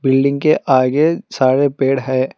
Building के आगे सारे पेड़ है।